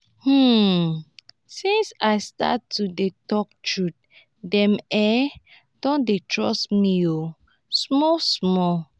um since i start to dey tok truth dem um don dey trust me um small-small.